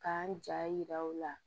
K'an ja yira u la